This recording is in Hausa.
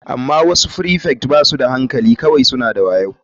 Amma wasu prefect ba su da hankali kawai suna da wayo.